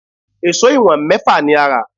Èṣó ìwọ̀n mẹ́fà ni a rà